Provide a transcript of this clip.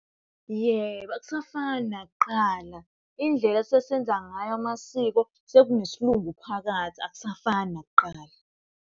Yebo, akusafani nakuqala indlela esesenza ngayo amasiko sekune siLungu phakathi akusafani nakuqala.